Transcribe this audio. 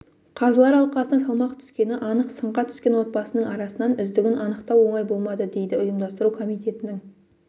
қазылар алқасына салмақ түскені анық сынға түскен отбасының арасынан үздігін анықтау оңай болмады дейді ұйымдастыру комитетінің